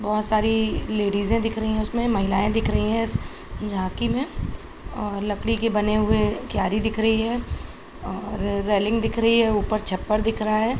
बहोत सारी लेडीजें दिख रही हैं उसमें। महिलायें दिख रही हैं इस झांकी में और लकड़ी के बने हुए क्यारी दिख रही है और रेलिंग दिख रही है। ऊपर छप्पर दिख रहा है।